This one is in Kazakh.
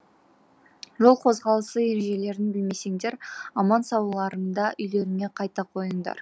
жол қозғалысы ережелерін білмесеңдер аман сауларыңда үйлеріңе қайта қойыңдар